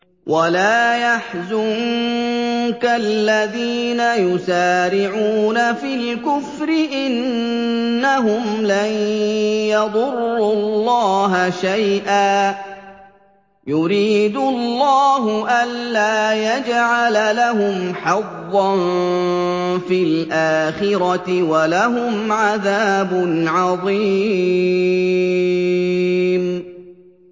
وَلَا يَحْزُنكَ الَّذِينَ يُسَارِعُونَ فِي الْكُفْرِ ۚ إِنَّهُمْ لَن يَضُرُّوا اللَّهَ شَيْئًا ۗ يُرِيدُ اللَّهُ أَلَّا يَجْعَلَ لَهُمْ حَظًّا فِي الْآخِرَةِ ۖ وَلَهُمْ عَذَابٌ عَظِيمٌ